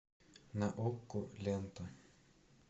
на окко лента